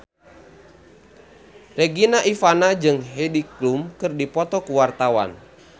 Regina Ivanova jeung Heidi Klum keur dipoto ku wartawan